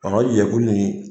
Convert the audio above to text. Ɔnɔ jɛkulu nin.